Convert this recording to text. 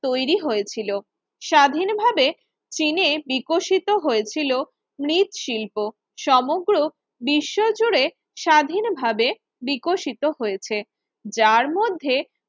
তৈরি হয়েছিল স্বাধীনভাবে চিনে বিকশিত হয়েছিল মৃত শিল্প সমগ্র বিশ্বজুড়ে স্বাধীনভাবে বিকশিত হয়েছে যার মধ্যে